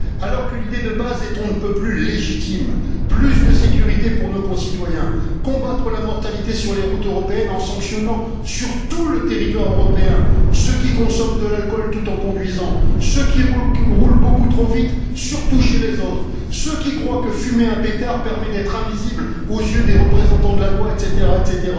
Alors que l'idée de base est on ne peut plus légitime plus de sécurité pour nos concitoyens, combattre la mortalité sur les routes européennes en sanctionnant, sur tout le territoire européen, ceux qui consomment de l'alcool tout en conduisant, ceux qui roulent beaucoup trop vite, surtout chez les autres, ceux qui croient que fumer un pétard permet d'être invisibles aux yeux des représentants de la loi, etc.,